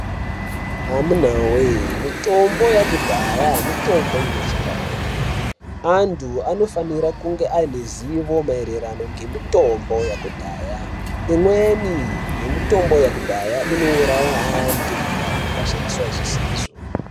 Amuna wee!,mitombo yakudhaya mitombo inoshanda zvemenemene, antu anofanira kunge ane zivo maererano ngemitombo yakudhaya, imweni yemitombo yakudhaya inowuraya antu ikasashandiswa zvisizvo.